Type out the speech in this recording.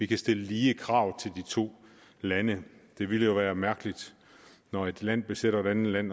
kan stille lige krav til de to lande det ville jo være mærkeligt når et land besætter et andet land